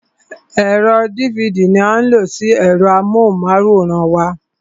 Ẹ̀rọ dívidì ní a ń lo sí ẹ̀rọ amóhùnmáwòrán wa.